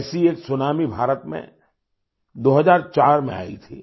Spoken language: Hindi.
ऐसी एक सुनामी भारत में 2004 में आई थी